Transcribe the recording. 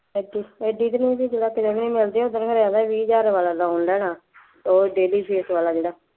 ਐਡੀ ਐਡੀ ਕੁ ਨੂੰ ਵੀ ਉਹ ਖਨੀ ਕਹਿੰਦਾ ਵੀਹ ਹਜ਼ਾਰ ਵਾਲਾ loan ਲੈਣਾ, ਉਹ daily fake ਵਾਲਾ ਜਿਹੜਾ